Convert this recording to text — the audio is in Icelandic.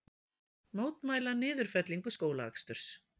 Mótmæla niðurfellingu skólaaksturs